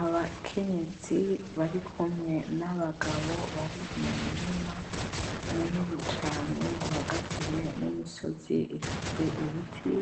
Abakenyezi bari kumwe nabagabo bari mumurima munini cane uhagatiwe nimisozi ifise ibiti